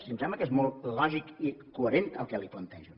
si em sembla que és molt lògic i coherent el que li plantejo